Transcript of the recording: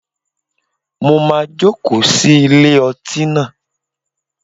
Mo máa joko sí ilé ọtí naa